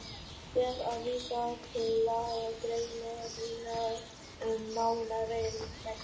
Ber að vísa til lagagreinarinnar um nánari reglur.